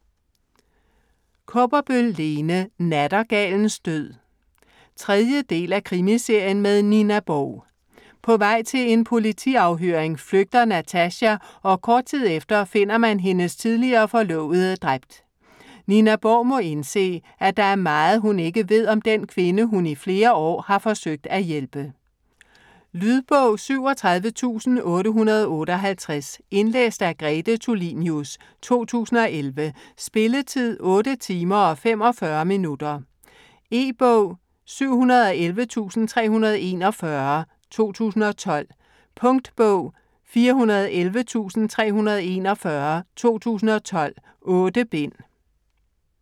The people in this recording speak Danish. Kaaberbøl, Lene: Nattergalens død 3. del af Krimiserien med Nina Borg. På vej til en politiafhøring flygter Natasha, og kort tid efter finder man hendes tidligere forlovede dræbt. Nina Borg må indse, at der er meget hun ikke ved om den kvinde, hun i flere år har forsøgt at hjælpe. Lydbog 37858 Indlæst af Grete Tulinius, 2011. Spilletid: 8 timer, 45 minutter. E-bog 711341 2012. Punktbog 411341 2012. 8 bind.